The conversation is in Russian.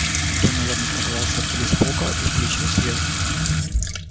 донован оторвался от телеспока и включил свет